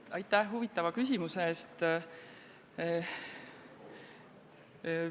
Aitäh huvitava küsimuse eest!